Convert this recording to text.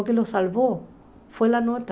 O que os salvou foi a nota.